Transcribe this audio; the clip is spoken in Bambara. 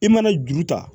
I mana juru ta